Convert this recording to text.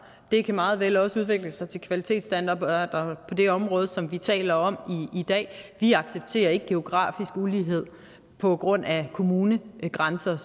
det kan meget vel også udvikle sig til kvalitetsstandarder på det område som vi taler om i dag vi accepterer ikke geografisk ulighed på grund af kommunegrænser